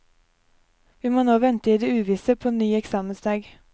Vi må nå vente i det uvisse på en ny eksamensdag.